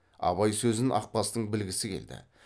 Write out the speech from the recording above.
абай сөзін ақбастың білгісі келді